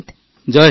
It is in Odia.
ଜୟହିନ୍ଦ